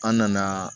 An nana